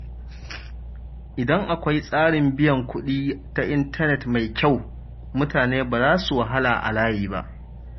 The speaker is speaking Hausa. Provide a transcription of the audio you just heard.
Idan akwai tsarin biyan kuɗi ta intanet mai kyau, mutane ba za su wahala a layi ba.